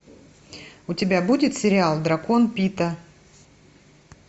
у тебя будет сериал дракон пита